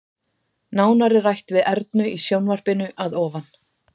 Nánar er rætt við Ernu í sjónvarpinu að ofan.